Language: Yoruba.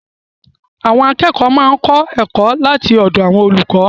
Àwọn akẹ́kọ̀ọ́ máa ń kọ́ ẹ̀kọ́ láti ọ̀dọ̀ olùkọ́